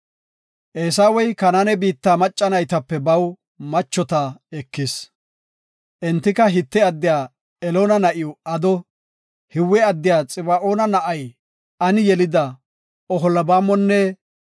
Eesawey Kanaane biitta macca naytape baw machota ekis. Entika Hite addiya Eloona na7iw Ado, Hiwe addiya Xiba7oona na7ay Ani yelida Oholbaamonne